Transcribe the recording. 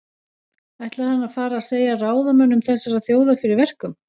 Ætlar hann að fara að segja ráðamönnum þessarar þjóðar fyrir verkum?